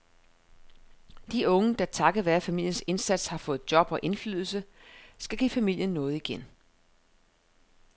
De unge, der takket være familiens indsats har fået job og indflydelse, skal give familien noget igen.